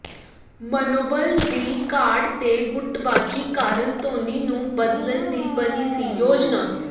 ਮਨੋਬਲ ਦੀ ਘਾਟ ਤੇ ਗੁੱਟਬਾਜ਼ੀ ਕਾਰਨ ਧੋਨੀ ਨੂੰ ਬਦਲਣ ਦੀ ਬਣੀ ਸੀ ਯੋਜਨਾ